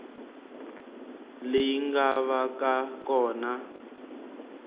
leyi nga va ka kona